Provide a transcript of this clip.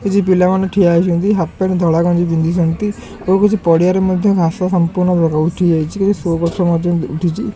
କିଛି ପିଲାମାନେ ଠିଆ ହେଇଚନ୍ତି ହାପ୍ ପେଣ୍ଟ ଧଳା ଗଞ୍ଜି ପିନ୍ଧିଚନ୍ତି ଓ କିଛି ପଡିଆ ରେ ମଧ୍ଯ ଘାସ ସଂପୂର୍ଣ୍ଣ ଅ ଉଠି ଯାଇଚି ଓ କିଛି ସୋ ଗଛ ମଧ୍ଯ ଉଠିଚି।